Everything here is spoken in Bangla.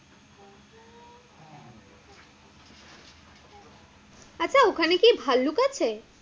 আচ্ছা ওখানে কি ভাল্লুক আছে?